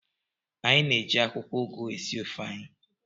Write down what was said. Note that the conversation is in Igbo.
Anyị na-eji akwụkwọ ugu esi ofe anyị.